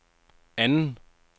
anden